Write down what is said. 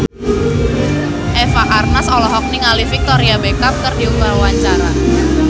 Eva Arnaz olohok ningali Victoria Beckham keur diwawancara